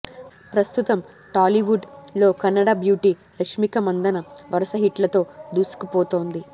ప్రస్తుతం టాలీవుడ్ లో కన్నడ బ్యూటీ రష్మిక మందన వరుస హిట్లతో దూసుకుపోతోంది